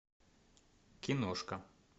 киношка